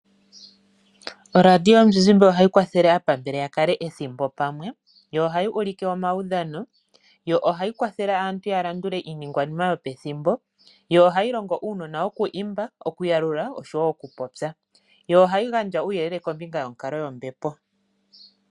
Oradio yomuzizimba ohayi kwathele aapambele ya kale ethimbo pamwe. Yo ohayi ulike omawudhano. Yo ohayi kwathele aantu ya landule iinigwanima yopethimbo. Yo ohayi longo uunona oku imba, okuyalula oshowo okupopya. Yo ohayi gandja uuyelele kombinga yonkalo yombepo.